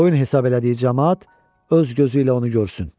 Qoyun hesab elədiyi camaat öz gözü ilə onu görsün.